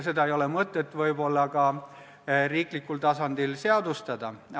Seda ei ole võib-olla mõtet riiklikul tasandil seadustada.